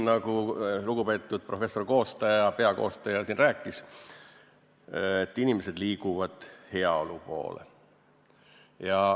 Nagu lugupeetud professor, peakoostaja, siin rääkis, liiguvad inimesed heaolu poole.